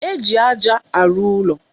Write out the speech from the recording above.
Éjị aja arụ ụlọ.